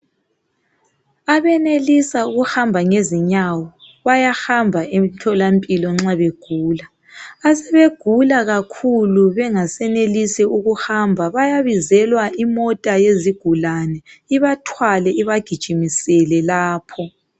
Abenelisa ukuhamba ngezinyawo bayahamba emtholampilo nxa begula. Asebegula kakhulu bengasenelisi ukuhamba bayabizelwa imota yezigulani ibathwale ibagijimisele lapho.